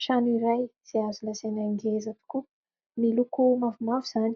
Trano iray izay azo lazaina ngeza tokoa : miloko mavomavo izany,